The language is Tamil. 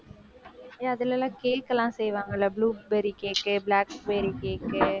ஏன் அதுல எல்லாம் cake லாம் செய்வாங்கல blueberry cake உ blackberry cake உ